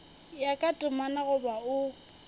ya ka temana goba o